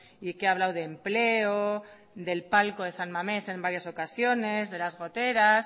y que ha hablado de empleo del palco de san mamés en varias ocasiones de las goteras